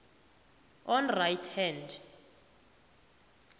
on right hand